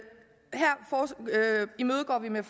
her imødegår vi med